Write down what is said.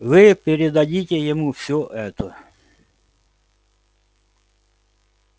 вы передадите ему все это